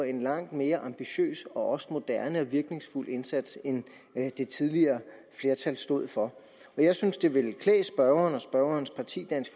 en langt mere ambitiøs og også moderne og virkningsfuld indsats end den det tidligere flertal stod for jeg synes det ville klæde spørgeren og spørgerens parti dansk